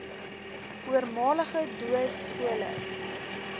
voormalige doo skole